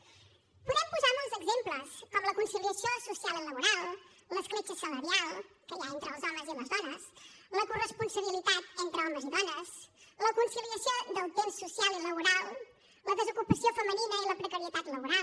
en podem posar molts exemples com la conciliació social i laboral l’escletxa salarial que hi ha entre els homes i les dones la corresponsabilitat entre homes i dones la conciliació del temps social i laboral la desocupació femenina i la precarietat laboral